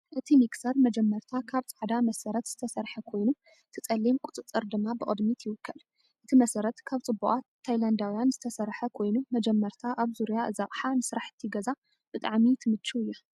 እቲ ሚክሰር መጀመርታ ካብ ጻዕዳ መሰረት ዝተሰርሐ ኮይኑ እቲ ጸሊም ቁጽጽር ድማ ብቕድሚት ይውከል። እቲ መሰረት ካብ ጽቡቓት ታይላንዳውያን ዝተሰርሐ ኮይኑ መጀመርታ ኣብ ዙርያ እዚ ኣቕሓ ንስራሕቲ ገዛ ብጣዕሚ ትምችው እያ።